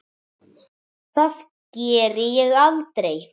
Það geri ég aldrei